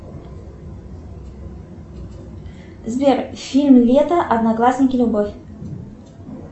сбер фильм лето одноклассники любовь